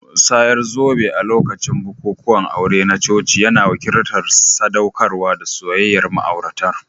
Musayar zobe a lokacin bukukuwan aure na coci yana wakiltar sadaukarwa da soyayyar ma'auratan